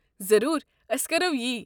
ضروٗر، ٲسۍ کرَو یہِ۔